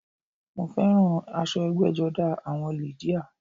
Mo féràn aso egbéjodá àwon lìdíà